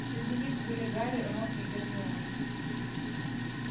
среди них были гарри рон и гермиона